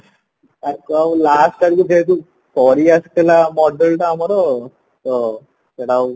ତାକୁ ଆଉ last ଆଡକୁ ସରିଆସୁଥିଲା model ଟା ଆମର ତ ସେଟା ଆଉ